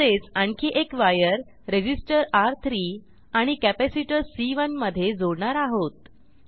तसेच आणखी एक वायर रेझिस्टर र3 आणि कॅपॅसिटर सी1 मधे जोडणार आहोत